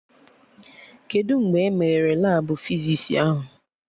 Kedụ mgbe e meghere Labụ fizis ahụ?